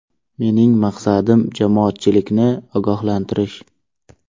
Mening maqsadim jamoatchilikni ogohlantirish.